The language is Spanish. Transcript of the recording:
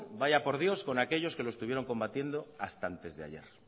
vaya por dios con aquellos que lo estuvieron combatiendo hasta antesdeayer